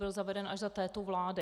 Byl zaveden až za této vlády.